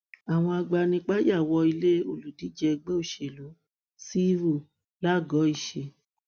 àwọn agbanipa ya wọ ilé olùdíje ẹgbẹ òsèlú civi lagoisẹ